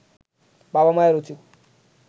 বাবা মায়ের উচিত